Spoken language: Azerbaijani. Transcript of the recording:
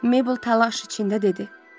Meybl təlaş içində dedi.